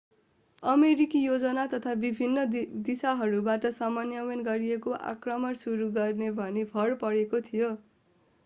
अमेरिकी योजना तीन विभिन्न दिशाहरूबाट समन्वय गरिएको आक्रमण सुरू गर्ने भनी भर परेको थियो